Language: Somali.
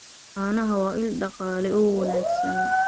Caanaha waa il dhaqaale oo wanaagsan.